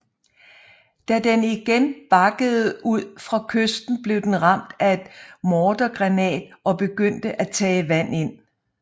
Da den igen bakkede ud fra kysten blev den ramt af en mortergranat og begyndte at tage vand